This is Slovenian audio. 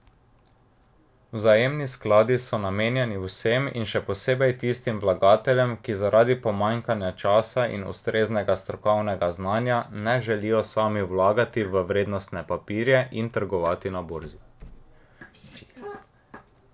Vzajemni skladi so namenjeni vsem in še posebej tistim vlagateljem, ki zaradi pomanjkanja časa in ustreznega strokovnega znanja ne želijo sami vlagati v vrednostne papirje in trgovati na borzi.